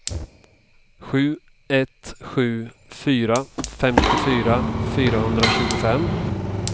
sju ett sju fyra femtiofyra fyrahundratjugofem